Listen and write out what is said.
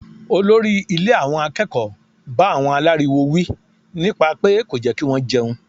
Olórí ilé àwọn akẹ́kọ̀ọ́ bá àwọn aláriwo wí nípa pé kò jẹ́ kí wọ́n jẹun.